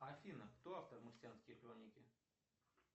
афина кто автор марсианские хроники